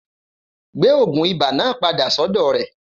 Gbé ogun ibà náà padà sọ́dọ̀ rè